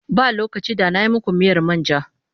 Ba lokaci da na yi muku miyar man ja.